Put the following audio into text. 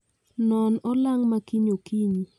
Non olang' ma kiny okinyi